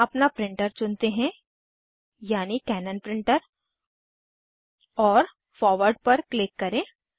यहाँ अपना प्रिंटर चुनते हैं यानि कैनन प्रिंटर और फॉरवर्ड पर क्लिक करें